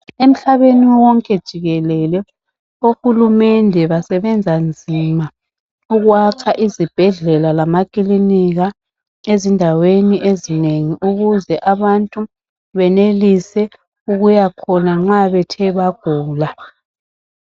Emhlabeni wonke jikelele ohulumende basebenza nzima ukwakha izibhedlela lamakilinika ezindaweni ezinengi ukuze abantu benelise ukuyakhona nxa bethe bagula.